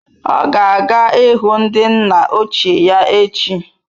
Ọ ga-aga ịhụ ndi nna ochie ya echi.